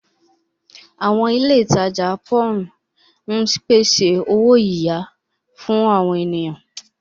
Àwọn ilé ìtajà pòwún ń pèsè owó-iyà fún àwọn ènìyàn.